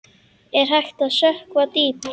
Er hægt að sökkva dýpra?